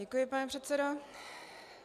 Děkuji, pane předsedo.